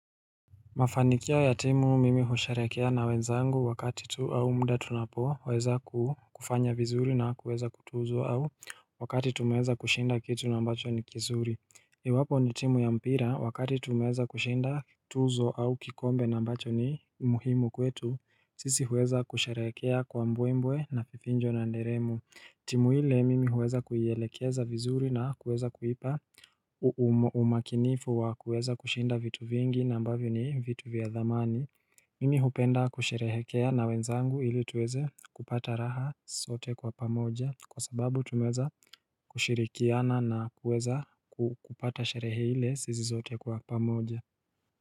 Mafanikio ya timu mimi husherehekea na wenzangu wakati tu au muda tunapoweza kufanya vizuri na kuweza kutuzwa au wakati tumeweza kushinda kitu na ambacho ni kizuri. Iwapo ni timu ya mpira wakati tumeweza kushinda tuzo au kikombe na ambacho ni muhimu kwetu, sisi huweza kusherehekea kwa mbwe mbwe na vifijo na nderemo. Timu hile mimi huweza kuielekeza vizuri na kuweza kuipa umakinifu wa kuweza kushinda vitu vingi na ambavyo ni vitu vya dhamani Mimi hupenda kusherehekea na wenzangu ili tuweze kupata raha sote kwa pamoja kwa sababu tumeweza kushirikiana na kuweza kupata sherehe ile sisi sote kwa pamoja.